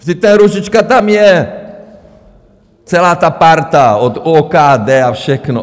Vždyť ten Růžička tam je, celá ta parta od OKD a všechno.